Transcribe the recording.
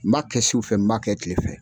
N m'a kɛ su fɛ n m'a kɛ kile fɛ.